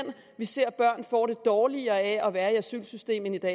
vi ser at børn får det dårligere af at være i asylsystemet det der